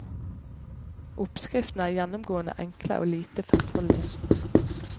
Oppskriftene er gjennomgående enkle og lite fettholdige.